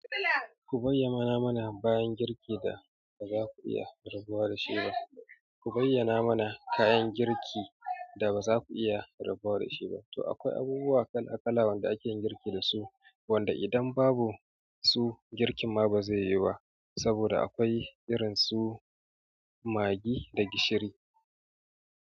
Ku bayyana mana bayan girki da baza ku iya rabuwa da shi ba. Ku bayyana mana kayan girki da baza ku iya rabuwa da shi ba. To akwai abubuwa kala kala wanda akeyin girki dasu, wanda idan babu su girkin ma bazai yiwu ba, saboda akwai irin su maggi da gishiri.